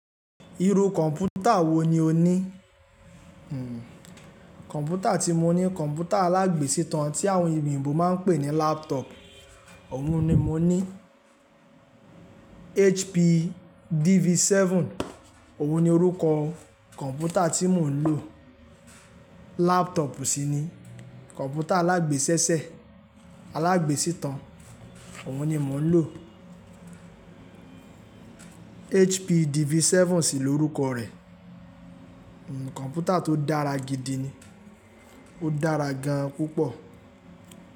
Irú kọ̀ǹpútà wo ni o ní? Kọ̀ǹpútà tí mo ní, kọ̀ǹpútà alágbèsítan tí àwọn èyíbo máa ń pè ní laptop. Òun ni mo ní. HP DV7, òun ni orúkọ kọ̀ǹpútà tí mò ń lò. Laptop sì ni, kọ̀ǹpútà alágbèsẹ́sẹ̀, alágbèsítan. Òun ni mò ń lò. HP DV7 sì lórúkọ rẹ̀. Kọ̀ǹpútà tó dára gidi ni, ó dára gan púpọ̀